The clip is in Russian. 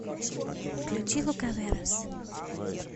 включи лукаверос